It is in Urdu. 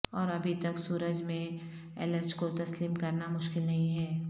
اور ابھی تک سورج میں الرج کو تسلیم کرنا مشکل نہیں ہے